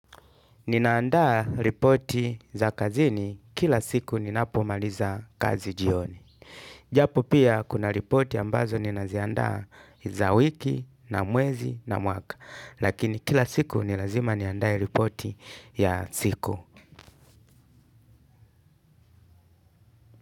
Ninaandaa ripoti za kazini kila siku ninapomaliza kazi jioni. Japo pia kuna ripoti ambazo ninaziandaa za wiki na mwezi na mwaka. Lakini kila siku ni lazima niandae ripoti ya siku.